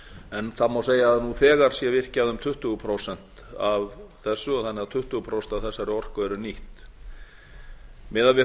en það má segja að það sé þegar virkjað um tuttugu prósent af þessu þannig að tuttugu prósent af þessari orku eru nýtt miðað við